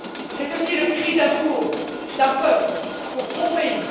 C'est aussi le cri d'amour d'un peuple pour son pays.